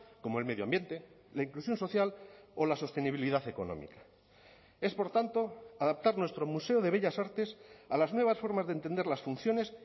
como el medio ambiente la inclusión social o la sostenibilidad económica es por tanto adaptar nuestro museo de bellas artes a las nuevas formas de entender las funciones